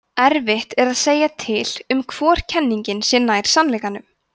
erfitt er að segja til um hvor kenningin sé nær sannleikanum